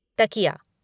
तकिया